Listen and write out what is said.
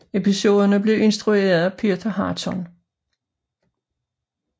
Episoderne blev instrueret af Peter Harton